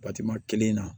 kelen na